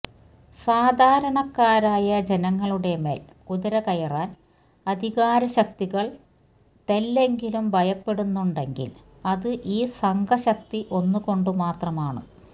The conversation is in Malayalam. സാധാരണക്കാരായ ജനങ്ങളുടെ മേല് കുതിര കയറാന് അധികാര ശക്തികള് തെല്ലെങ്കിലും ഭയപ്പെടുന്നുണ്ടെങ്കില് അത് ഈ സംഘശക്തി ഒന്നുകൊണ്ട് മാത്രമാണ്